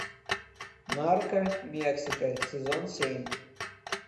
нарко мексика сезон семь